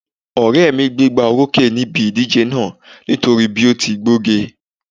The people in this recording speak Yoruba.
Ọ̀rẹ́ mi gbégbóorókè níbi ìdíje náà nítorí bí ó ti gbóge